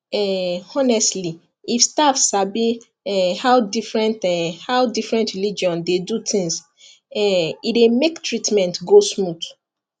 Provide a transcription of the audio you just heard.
um honestly if staff sabi um how different um how different religion dey do things um e dey make treatment go smooth